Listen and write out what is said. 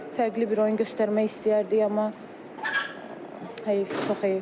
Fərqli bir oyun göstərmək istəyərdik, amma heyif, çox heyif.